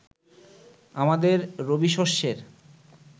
আমাদের রবিশস্যের